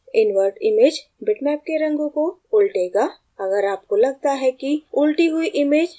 invert image bitmap के रंगों को उलटेगा अगर आपको लगता है कि उलटी हुई image बेहतर है